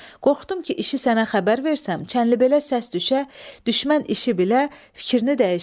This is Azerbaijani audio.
Qorxdum ki, işi sənə xəbər versəm, Çənlibelə səs düşə, düşmən işi bilə, fikrini dəyişə.